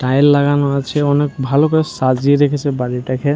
Tile লাগানো আছে অনেক ভালো করে সাজিয়ে রেখেছে বাড়ি টাকে ।